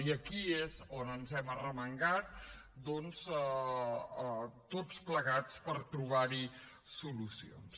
i aquí és on ens hem arremangat doncs tots plegats per trobar hi solucions